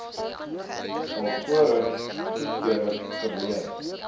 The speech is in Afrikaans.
alvorens goedkeuring verleen